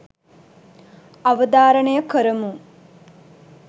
අවධාරණය කරමු.